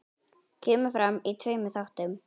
Kemur fram í tveimur þáttum.